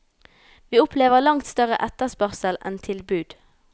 Vi opplever langt større etterspørsel enn tilbud.